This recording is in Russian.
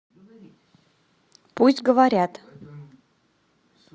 пусть говорят